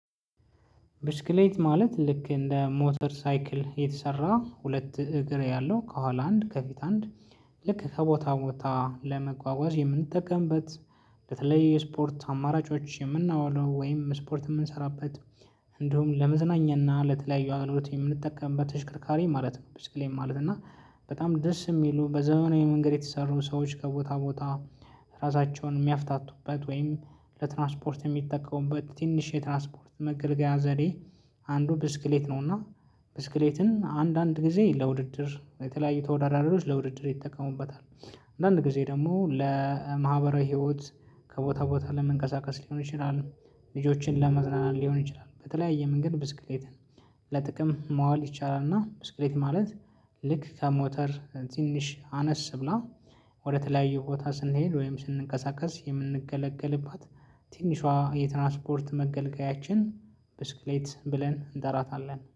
ብስክሌት ማለት ልክ እንደ ሞተር ሳይክል የተሰራ ሁለት እግር ያለው ከኋላ አንድ ከፊት አንድ ልክ ከቦታ ቦታ ለመጓጓዝ የምንጠቀምበት በተለይ የስፖርት አማራጮች የምናውለው ወይም ስፖርት የምንሰራበት እንዲሁም ለመዝናኛና ለተለያዩ አገልግሎት የምንጠቀምበት ተሽከርካሪ ማለት ነው። ብስክሌት ማለት እና በጣም ደስ የሚሉ በዘመናዊ መንገድ የተሰሩ ሰዎች ከቦታ ቦታ ራሳቸውን የሚያፍታቱበት ወይም ለትራንስፖርት የሚጠቀሙበት ትንሽ የትራንስፖርት መገልገያ ዘዴ አንዱ ብስክሌት ነው። እና ብስክሌትን አንዳንድ ጊዜ ለውድድር የተለያዩ ተወዳዳሪዎች ለውድድር ይጠቀሙበታል። አንዳንድ ጊዜ ደግሞ ለማህበራዊ ህይወት ከቦታ ቦታ ለመንቀሳቀስ ሊሆን ይችላል። ልጆችን ለማዝናናት ሊሆን ይችላል በተለያየ መንገድ ብስክሌትን ለጥቅም ማዋል ይቻላል። እና ብስክሌት ማለት ልክ ከሞተር ትንሽ አነስ ብላ ወደተለያየ ቦታ ስንሄድ ወይም ስንቀሳቀስ የምንገለገልባት ትንሿ የትራንስፖርት መገልገያችን ብስክሌት ብለን እንጠራታለን